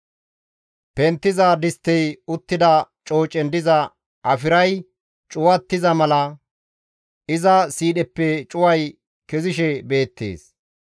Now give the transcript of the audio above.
Penttiza disttey uttida coocen diza afiray cuwattiza mala; iza siidheppe cuway kezishe beettes.